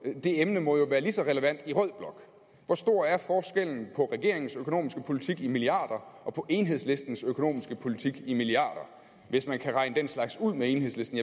det emne må jo være lige så relevant i rød blok hvor stor er forskellen på regeringens økonomiske politik regnet i milliarder og på enhedslistens økonomiske politik regnet i milliarder hvis man kan regne den slags ud med enhedslisten